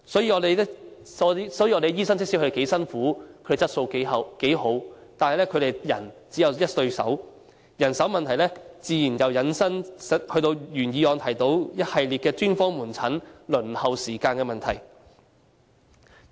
即使醫生工作得多辛苦，質素有多高，但他們只有一雙手，人手問題自然引申到原議案提及的一連串專科門診輪候時間的問題。